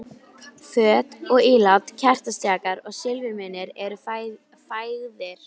Föt og ílát, kertastjakar og silfurmunir eru fægðir.